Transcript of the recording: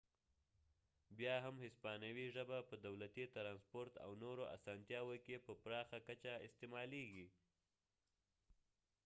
بیا هم هسپانوي ژبه په دولتي ترانسپورت او نورو اسانتیاو کې په پراخه کچه استعمالیږي